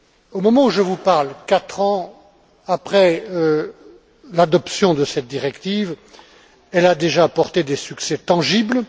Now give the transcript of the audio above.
Au moment où je vous parle, quatre ans après l'adoption de cette directive, elle a déjà porté des succès tangibles.